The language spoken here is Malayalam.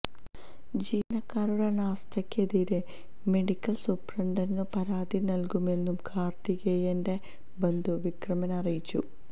ജീവനക്കാരുടെ അനാസ്ഥയ്ക്കെതിരെ മെഡിക്കല് സൂപ്രണ്ടിനു പരാതി നല്കുമെന്നു കാര്ത്തികേയന്റെ ബന്ധു വിക്രമന് അറിയിച്ചു